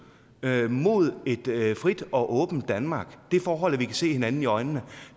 mod et frit og åbent danmark det forhold at vi kan se hinanden i øjnene